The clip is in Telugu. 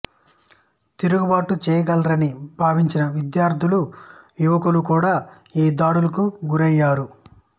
తిరుగుబాటు చెయ్యగలరని భావించిన విద్యార్థులు యువకులు కూడా ఈ దాడులకు గురయ్యారు